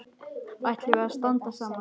Ætlum við að standa saman?